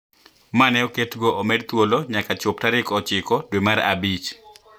Ma ne oketgo omed thuolo nyaka chop tarik ochiko dwe mar abich